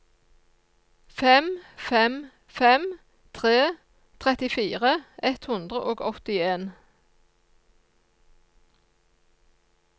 fem fem fem tre trettifire ett hundre og åttien